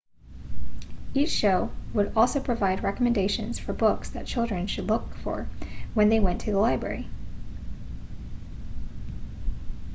each show would also provide recommendations for books that children should look for when they went to their library